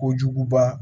Kojuguba